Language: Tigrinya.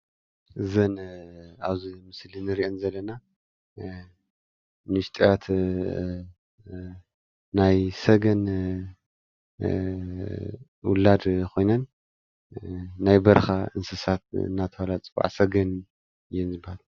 እዘን አብዚ ምስሊ እንሪአን ዘለና ንእሽተያት ናይ ሰገን ውላድ ኮይነን ናይ በረኻ እንስሳት እናተብሃላ ዝፅወዓ ስገን እየን ዝበሃላ።